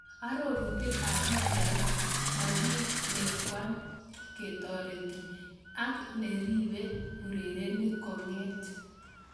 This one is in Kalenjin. Arorutik ab pichait, Mkalekwa ketoreti ak neribe urerenik konget.